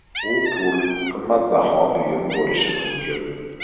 U pul, qimmatbaho buyum bo‘lishi mumkin.